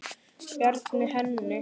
Bjarga henni?